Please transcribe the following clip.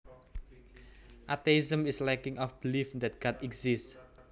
Atheism is lacking a belief that God exists